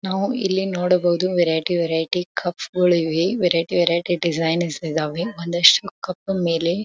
ನಾವು ಇಲ್ಲಿ ನೋಡಬಹುದು ವೆರೈಟಿ ವೆರೈಟಿ ಕಪ್ಸ್ ಗಳು ಇವೆ ವೆರೈಟಿ ವೆರೈಟಿ ಡಿಸೈನ್ಸ್ ಇದಾವೆ ಒಂದಿಷ್ಟು ಕಪ್ ಮೇಲೆ.